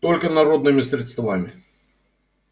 только народными средствами